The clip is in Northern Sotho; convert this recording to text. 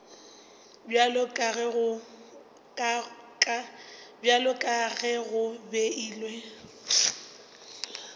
bjalo ka ge go beilwe